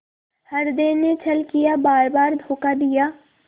हृदय ने छल किया बारबार धोखा दिया